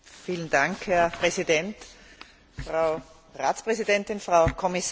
Herr Präsident, Frau Ratspräsidentin, Frau Kommissarin!